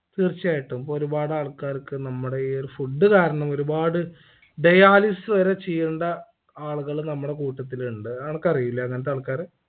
തീർച്ചയായിട്ടും ഒരുപാട് ആൾക്കാർക്ക് നമ്മുടെ ഈ ഒരു food കാരണം ഒരുപാട് dialysis വരെ ചെയ്യേണ്ട ആളുകള് നമ്മുടെ കൂട്ടത്തിലുണ്ട് അനക്കറിയില്ലേ അങ്ങനത്തെ ആൾക്കാരെ